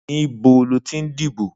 Nibó lótí n dibó?